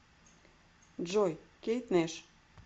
джой кейт нэш